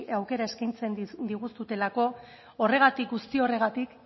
aukera eskaintzen diguzuelako guzti horregatik